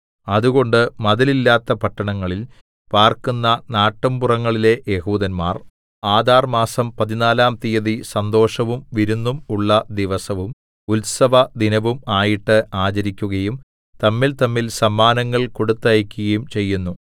അതുകൊണ്ട് മതിലില്ലാത്ത പട്ടണങ്ങളിൽ പാർക്കുന്ന നാട്ടുപുറങ്ങളിലെ യെഹൂദന്മാർ ആദാർമാസം പതിനാലാം തീയതി സന്തോഷവും വിരുന്നും ഉള്ള ദിവസവും ഉത്സവദിനവും ആയിട്ട് ആചരിക്കുകയും തമ്മിൽതമ്മിൽ സമ്മാനങ്ങൾ കൊടുത്തയക്കുകയും ചെയ്യുന്നു